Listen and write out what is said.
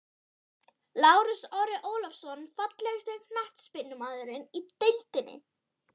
Lárus Orri Ólafsson Fallegasti knattspyrnumaðurinn í deildinni?